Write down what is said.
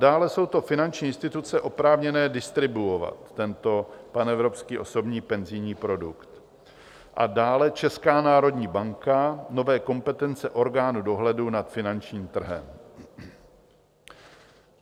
Dále jsou to finanční instituce oprávněné distribuovat tento panevropský osobní penzijní produkt a dále Česká národní banka - nové kompetence orgánu dohledu nad finančním trhem.